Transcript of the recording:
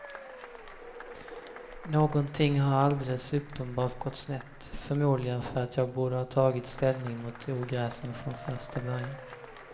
Någonting har alldeles uppenbart gått snett, förmodligen för att jag borde ha tagit ställning mot ogräsen från första början.